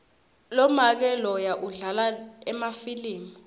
lomake loya udlala emafilimu